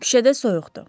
Küçədə soyuqdur.